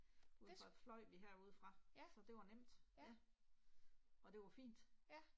Udefra fløj vi herude fra, så det var nemt. Ja. Og det var fint